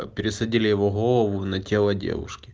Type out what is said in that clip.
пересадили его голову на тело девушки